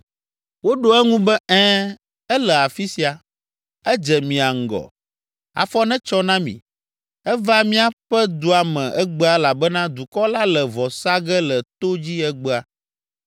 Woɖo eŋu be, “Ɛ̃, ele afi sia. Edze mia ŋgɔ. Afɔ netsɔ na mi. Eva míaƒe dua me egbea elabena dukɔ la le vɔ sa ge le to dzi egbea.